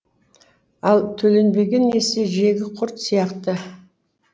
ал төленбеген несие жегі құрт сияқты